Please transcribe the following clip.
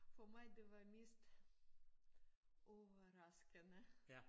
For mig det var mest overraskende